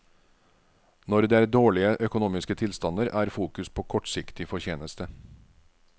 Når det er dårlige økonomiske tilstander er fokus på kortsiktig fortjeneste.